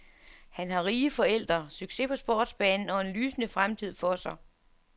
Han har rige forældre, succes på sportsbanen og en lysende fremtid for sig.